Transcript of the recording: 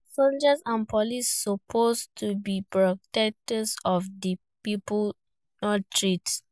Soldiers and police suppose to be protectors of di people, not threats.